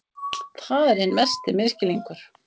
Það er hinn mesti misskilningur.